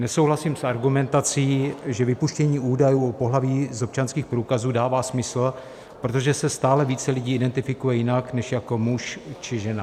Nesouhlasím s argumentací, že vypuštění údajů o pohlaví z občanských průkazů dává smysl, protože se stále více lidí identifikuje jinak než jako muž či žena.